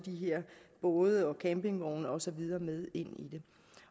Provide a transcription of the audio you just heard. både campingvogne og så videre med ind i det